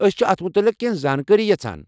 أسۍ چھِ اتھ متعلِق کینٛہہ زانٛکٲرِی یژھان ۔